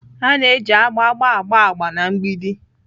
A na-eji agba agba agba agba na mgbidi.